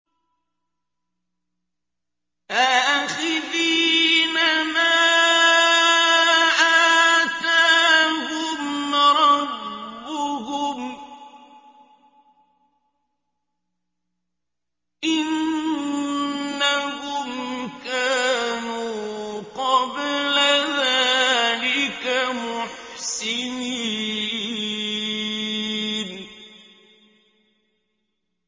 آخِذِينَ مَا آتَاهُمْ رَبُّهُمْ ۚ إِنَّهُمْ كَانُوا قَبْلَ ذَٰلِكَ مُحْسِنِينَ